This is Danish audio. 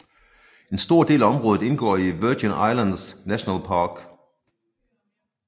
En stor del af området indgår i Virgin Islands National Park